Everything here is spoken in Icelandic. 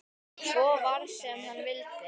Svo varð sem hann vildi.